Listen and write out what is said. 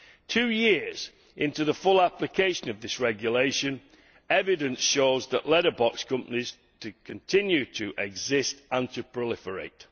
Two years into the full application of this regulation, evidence shows that letterbox companies continue to exist and to proliferate.